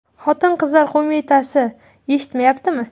Xotin-qizlar qo‘mitasi eshitmayaptimi?.